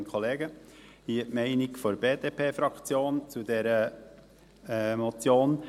Hier die Meinung der BDP-Fraktion zu dieser Motion: